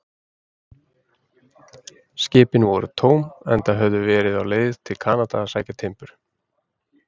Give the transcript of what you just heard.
Skipin voru tóm, en höfðu verið á leið til Kanada að sækja timbur.